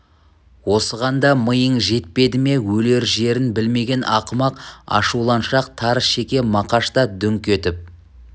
осыған да миың жетпеді ме өлер жерін білмеген ақымақ ашуланшақ тар шеке мақаш та дүңк етіп